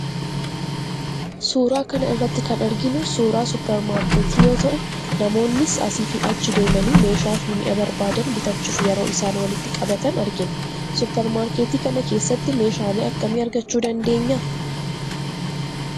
Suuraa kana irratti kan arginu suuraa suuparmarkeetii yoo ta'u, namoonnis asii fi achi deemanii meeshaa fi mi'a barbaadan bitachuuf yeroo isaan walitti qabatan argina. Suuparmarkeetii kana keessatti meeshaalee akkamii argachuu dandeenya?